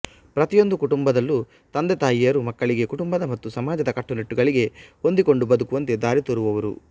ಪ್ರತಿಯೊಂದು ಕುಟುಂಬದಲ್ಲೂ ತಂದೆತಾಯಿಯರು ಮಕ್ಕಳಿಗೆ ಕುಟುಂಬದ ಮತ್ತು ಸಮಾಜದ ಕಟ್ಟುನಿಟ್ಟುಗಳಿಗೆ ಹೊಂದಿಕೊಂಡು ಬದುಕುವಂತೆ ದಾರಿತೋರುವರು